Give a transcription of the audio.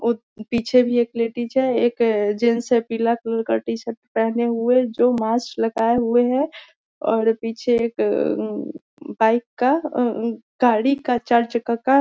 और पीछे भी एक लेडीज है एक जेंट्स है पिला कलर का टी-शर्ट पहने हुए जो मास्क लगाये हुए है और पीछे एक अम बाइक का गाड़ी का का--